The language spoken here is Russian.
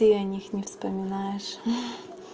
ты о них не вспоминаешь